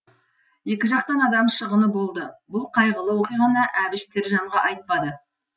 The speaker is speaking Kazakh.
екі жақтан адам шығыны болды бұл қайғылы оқиғаны әбіш тірі жанға айтпады